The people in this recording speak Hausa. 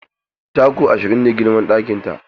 Taku ashirin ne girman ɗakin ta.